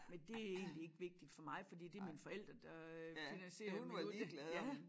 Men det egentlig ikke vigtigt for mig fordi det mine forældre der finansiere min uddannelse